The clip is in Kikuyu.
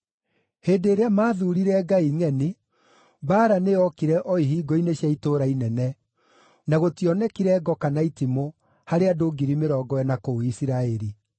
Hĩndĩ ĩrĩa maathuurire ngai ngʼeni, mbaara nĩyokire o ihingo-inĩ cia itũũra inene, na gũtionekire ngo kana itimũ harĩ andũ 40,000 kũu Isiraeli.